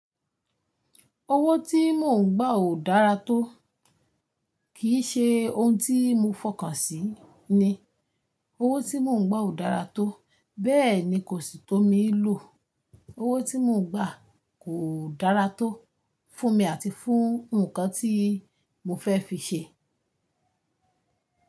Owó tí mò ń gbà ò dára tó, kì í ṣe ohun tí mo fọkàn sí ni. Owó tí mò ń gbà ò dára tó, bẹ́ẹ̀ ni kò sí tó mii lò. Owó tí mò ń gbà kò dára tó fún mi àti fún nnkan tí mo fẹ́ fi ṣe.